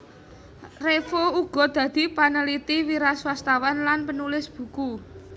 Revo uga dadi paneliti wiraswastawan lan panulis buku